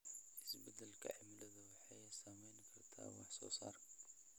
Isbeddelka cimiladu waxay saameyn kartaa wax soo saarka.